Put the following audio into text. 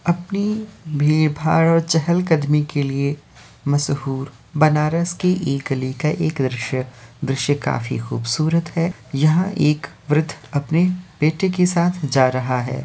अपनी भीड़ भाड़ और चहल कदमी के लिए मशहूर बनारस के एक गली का एक दृश्य है दृश्य काफी खूबसूरत है यहाँ एक वृद्ध अपने बेटे के साथ जा रहा है।